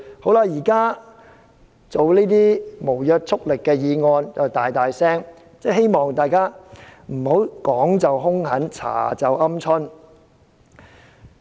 現時辯論這項無約束力的議案，大家卻高聲批評，希望大家不要說時兇狠，調查時"鵪鶉"。